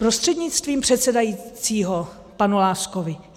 Prostřednictvím předsedajícího panu Láskovi.